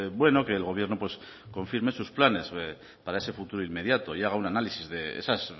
bueno que el gobierno confirme sus planes para ese futuro inmediato llega un análisis de esas